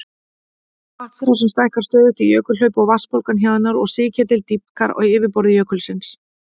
Vatnsrásin stækkar stöðugt í jökulhlaupi og vatnsbólan hjaðnar og sigketill dýpkar á yfirborði jökulsins.